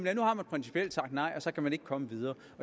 at nu har man principielt sagt nej og så kan man ikke komme videre